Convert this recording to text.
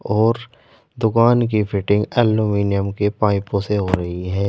और दुकान की फिटिंग एल्युमिनियम के पाइपों से हो रही है।